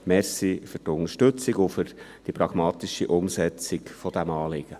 Danke für die Unterstützung und für die pragmatische Umsetzung dieses Anliegens.